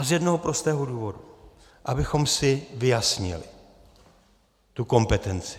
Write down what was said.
A z jednoho prostého důvodu - abychom si vyjasnili tu kompetenci.